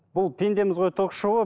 бұл пендеміз ғой ток шоуы